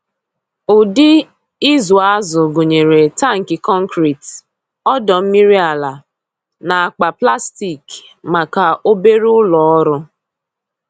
Ụdị ịzụ azụ gụnyere tankị konkrit, ọdọ mmiri ala, na akpa plastik maka obere ụlọ ọrụ.